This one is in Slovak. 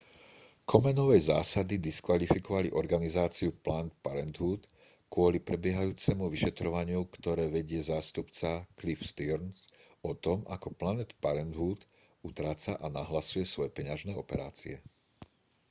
komenovej zásady diskvalifikovali organizáciu planned parenthood kvôli prebiehajúcemu vyšetrovaniu ktoré vedie zástupca cliff stearns o tom ako planned parenthood utráca a nahlasuje svoje peňažné operácie